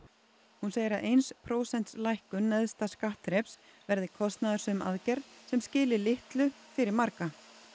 hún segir að eins prósents lækkun neðsta skattþreps verði kostnaðarsöm aðgerð sem skili litlu fyrir marga